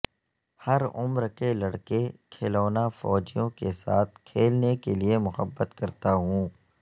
ہر عمر کے لڑکے کھلونا فوجیوں کے ساتھ کھیلنے کے لئے محبت کرتا ہوں